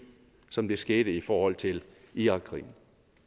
som det skete i forhold til irakkrigen